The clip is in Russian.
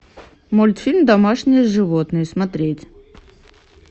мультфильм домашние животные смотреть